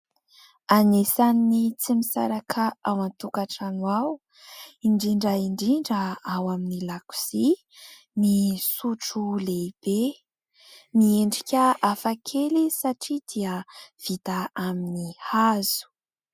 Anisany tsy misaraka ao an-tokantrano ao indrindra indrindra ao amin'ny lakozia ny sotro lehibe. Miendrika hafakely izy satria dia vita amin'ny hazo.